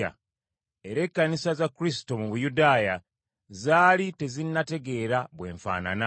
Era ekkanisa za Kristo mu Buyudaaya zaali tezinnategeera bwe nfaanana.